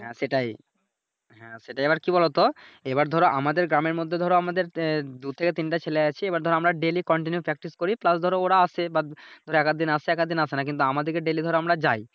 হ্যাঁ সেটাই, হ্যা সেটাই এইবার কি বলোতো এইবার ধরো আমাদের গ্রামের মধ্যে ধরো দুই থেকে তিনটা ছেলে আছে এইবার ধরো আমরা Daily continue practice করি প্লাস ধরো ওরা আসে But ওরা এক আগ দিন আসে এক আধ দিন আসে নাহ কিন্তু আমাদেরকে ডেইলি ধরো আমরা যাই